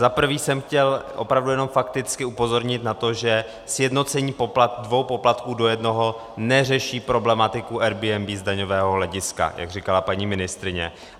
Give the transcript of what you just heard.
Za prvé jsem chtěl opravdu jenom fakticky upozornit na to, že sjednocení dvou poplatků do jednoho neřeší problematiku Airbnb z daňového hlediska, jak říkala paní ministryně.